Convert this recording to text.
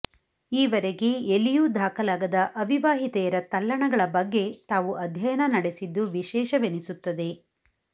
ಈವರೆಗೆ ಎಲ್ಲಿಯೂ ದಾಖಲಾಗದ ಅವಿವಾಹಿತೆಯರ ತಲ್ಲಣಗಳ ಬಗ್ಗೆ ತಾವು ಅಧ್ಯಯನ ನಡೆಸಿದ್ದು ವಿಶೇಷವೆನಿಸುತ್ತದೆ